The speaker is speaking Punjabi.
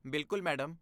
ਬਿਲਕੁਲ, ਮੈਡਮ।